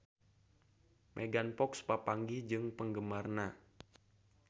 Megan Fox papanggih jeung penggemarna